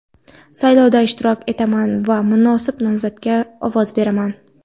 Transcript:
Saylovda ishtirok etaman va munosib nomzodga ovoz beraman!.